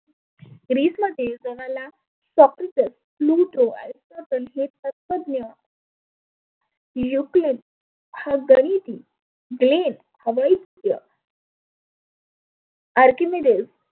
ग्रिसमध्ये जमाला Socrates, Plato तत्वज्ञ युक्लीन हागरीती क्लेम हवैद्य आर्किमीडेस